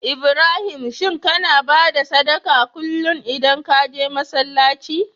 Ibrahim shin kAna bada sadaqah kullun idan kaje masalaci?